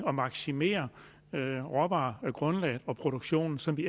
at maksimere råvaregrundlaget og produktionen så vi